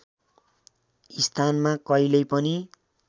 स्थानमा कहिल्यै पनि